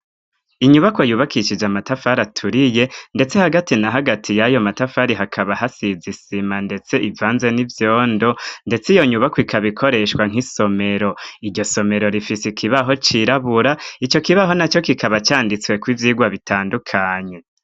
Inyubako yubakishije amatafari aturiye ndetse hagati na hagati y'ayo matafari hakaba hasize isima ndetse ivanze n'ivyondo ndetse iyo nyubako ikabikoreshwa nk'isomero. Iryo somero rifise ikibaho cirabura. Ico kibaho naco kikaba canditsweko ivyigwa bitandukanye.